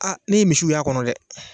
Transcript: Aa ne ye misiw y'a kɔnɔ dɛ!